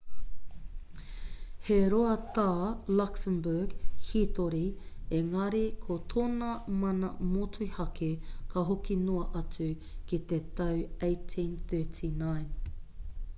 he roa tā luxembourg hītori engari ko tōna mana motuhake ka hoki noa atu ki te tau 1839